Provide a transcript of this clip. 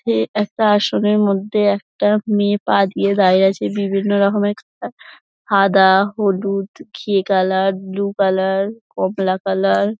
এ একটা আসনের মধ্যে একটা মেয়ে পা দিয়ে দাঁড়িয়ে আছে বিভিন্ন রকমের সাদা হলুদ ঘিয়ে কালার ব্লু কালার কমলা কালার ।